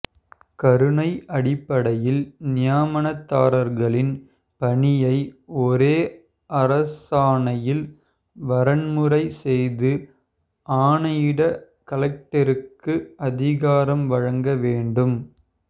கருணை அடிப்படையில் நியமனதாரர்களின் பணியை ஒரே அரசாணையில் வரன்முறை செய்து ஆணையிட கலெக்டருக்கு அதிகாரம் வழங்க வேண்டும்